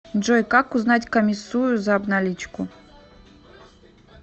джой как узнать комиссую за обналичку